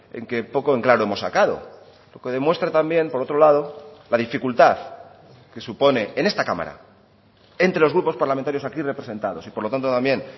en que poco en claro hemos sacado lo que demuestra también por otro lado la dificultad que supone en esta cámara entre los grupos parlamentarios aquí representados y por lo tanto también